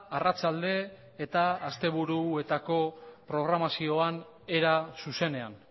arratsalde eta asteburuetako programazioan era zuzenean